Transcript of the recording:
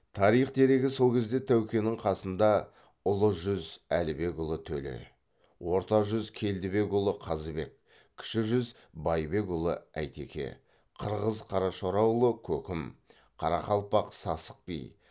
тарих дерегі сол кезде тәукенің қасында ұлы жүз әлібекұлы төле орта жүз келдібекұлы қазыбек кіші жүз байбекұлы әйтеке қырғыз қарашораұлы көкім қарақалпақ сасық би